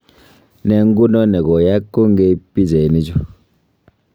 Ne nguno ne koyaak kongeiip pichainichu